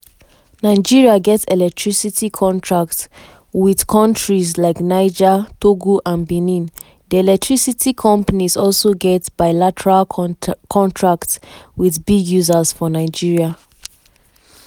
nigeria get electricity contracts wit kontries like niger togo and benin di electricity companies also get bilateral contracts wit big users for nigeria.